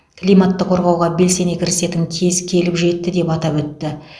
климатты қорғауға белсене кірісетін кез келіп жетті деп атап өтті